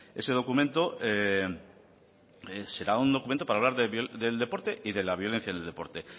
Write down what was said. ese documento será un documento para hablar del deporte y de la violencia en el deporte